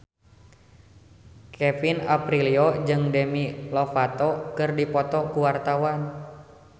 Kevin Aprilio jeung Demi Lovato keur dipoto ku wartawan